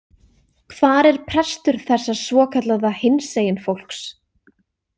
Hvar er prestur þessa svokallaða hinsegin fólks?